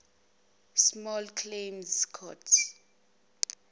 small claims court